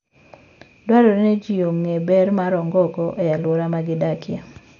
Dwarore ni ji ong'e ber ma ongogo e alwora ma gidakie.